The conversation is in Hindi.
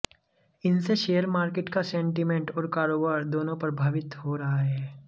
इनसे शेयर मार्केट का सेंटीमेंट और कारोबार दोनों प्रभावित हो रहा है